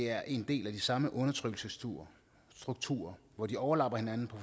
er en del af de samme undertrykkelsesstrukturer hvor de overlapper hinanden på